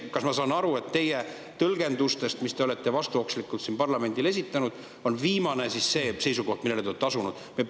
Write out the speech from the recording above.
Kas ma saan aru, et teie tõlgendustest, mis te olete vastuokslikult siin parlamendile esitanud, viimane on see seisukoht, millele te olete asunud?